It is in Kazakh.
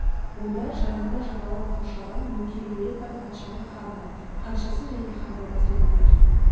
онда жанында жағалай қоршаған нөкерлері бар патшаның ханымы ханшасы және ханзадасы отыр екен